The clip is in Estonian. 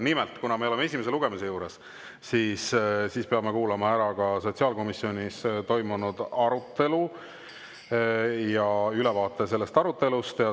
Nimelt, kuna me oleme esimese lugemise juures, siis peame kuulama ära ka ülevaate sotsiaalkomisjonis toimunud arutelust.